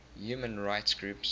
human rights groups